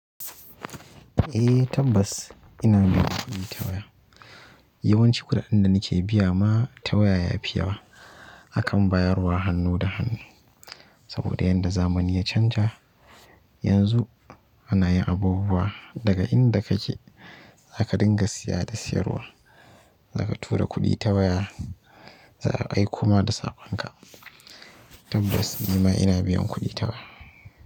Eh tabbas ina biyan kuɗi ta waya. Yawanci kuɗaɗen da nike biya ma ta waya yafi yawa akan bayarwa hannu da hannu. Saboda yanda zamani ya canja yanzu anayi abubuwa daga inda kake zaka dinga siya da siyarwa, zaka tura kuɗi ta waya za a aiko ma da saƙon ka. Tabbas nima ina biyan kuɗi ta waya.